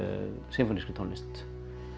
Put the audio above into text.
sinfónískri tónlist